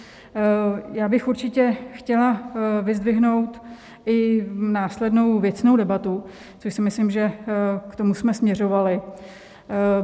Já bych určitě chtěla vyzdvihnout i následnou věcnou debatu, což si myslím, že k tomu jsme směřovali.